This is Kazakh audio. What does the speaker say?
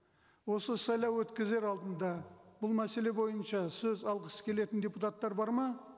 осы сайлау өткізер алдында бұл мәселе бойынша сөз алғысы келетін депутаттар бар ма